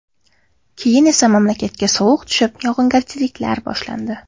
Keyin esa mamlakatga sovuq tushib, yog‘ingarchiliklar boshlandi.